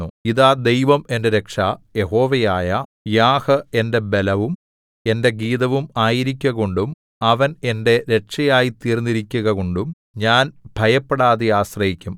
ഇതാ ദൈവം എന്റെ രക്ഷ യഹോവയായ യാഹ് എന്റെ ബലവും എന്റെ ഗീതവും ആയിരിക്കുകകൊണ്ടും അവൻ എന്റെ രക്ഷയായിത്തീർന്നിരിക്കുകകൊണ്ടും ഞാൻ ഭയപ്പെടാതെ ആശ്രയിക്കും